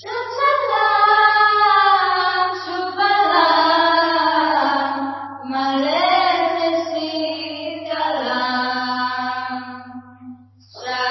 ಸುಜಲಾಂ ಸುಫಲಾಂ ಮಲಯಜ ಶೀತಲಾಂ